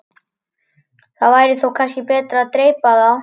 Það væri þó kannski betra að dreypa á.